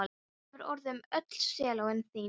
Hvað hefur orðið um öll sellóin þín?